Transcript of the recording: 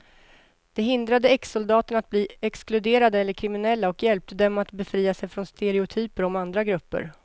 Det hindrade exsoldaterna att bli exkluderade eller kriminella och hjälpte dem att befria sig från stereotyper om andra grupper.